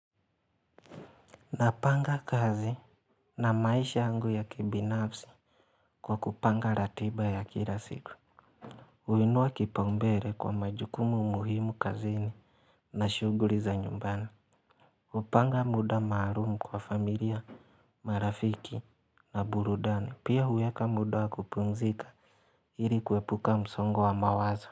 Napanga kazi na maisha yangu ya kibinafsi kwa kupanga ratiba ya kila siku. Huinua kipaumbele kwa majukumu muhimu kazini na shuguli za nyumbani. Hupanga muda maalumu kwa familia, marafiki na burudani pia huweka muda wa kupumzika ili kuhepuka msongo wa mawazo.